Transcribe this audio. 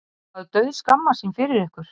Maður dauðskammast sín fyrir ykkur.